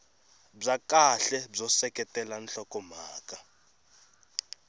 bya kahle byo seketela nhlokomhaka